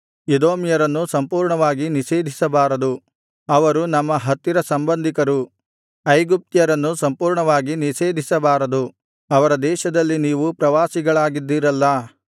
ಎದೋಮ್ಯರನ್ನು ಸಂಪೂರ್ಣವಾಗಿ ನಿಷೇಧಿಸಬಾರದು ಅವರು ನಮ್ಮ ಹತ್ತಿರ ಸಂಬಂಧಿಕರು ಐಗುಪ್ತ್ಯರನ್ನೂ ಸಂಪೂರ್ಣವಾಗಿ ನಿಷೇಧಿಸಬಾರದು ಅವರ ದೇಶದಲ್ಲಿ ನೀವು ಪ್ರವಾಸಿಗಳಾಗಿದ್ದಿರಲ್ಲಾ